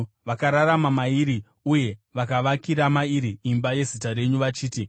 Vakararama mairi, uye vakavakira mairi imba yeZita renyu vachiti,